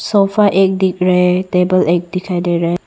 Sofa एक दिख रहा है टेबल एक दिखाई दे रहा है।